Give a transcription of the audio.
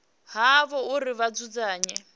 ha havho uri vha dzudzanye